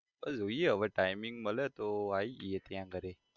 હવે જોઈએ timing મળે તો આઈ જઈએ ત્યાં ઘરે.